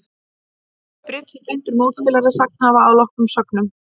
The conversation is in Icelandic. Í bridds er blindur mótspilari sagnhafa að loknum sögnum.